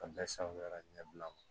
A bɛɛ sanuyara ɲɛbila